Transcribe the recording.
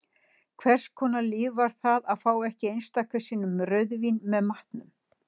Hvers konar líf var það að fá ekki einstaka sinnum rauðvín með matnum?